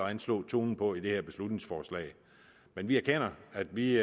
at anslå tonen på i det her beslutningsforslag men vi erkender at vi